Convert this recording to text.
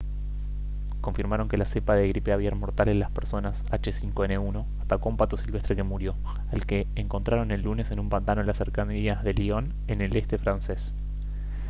confirmaron que la cepa de gripe aviar mortal en las personas h5n1 atacó a un pato silvestre que murió al que encontraron el lunes en un pantano en las cercanías de lyon en el este francés